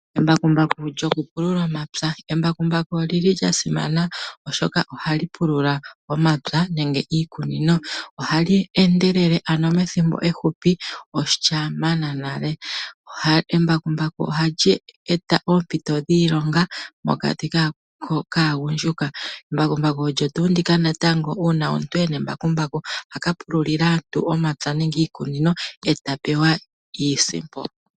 Embakumbaku olili la simana oshoka ohali pulula omapya nenge iikunino. Ohali endelele ano methimbo ehupi olya mana nale. Embakumbaku ohali eta oompito dhiilonga mokati kaagundjuka. Embakumbaku olyo tuu ndika natango uuna omuntu elina ohaka pululila aantu omapya gawo nenge iikunino, e ta pewa iisimpo.